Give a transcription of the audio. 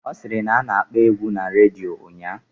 Ọ sịrị na a na-akpọ egwu na redio ugbua